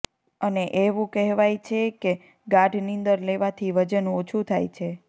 અને એવું કહેવાય છે કે ગાઢ નીંદર લેવાથી વજન ઓછું થાય છે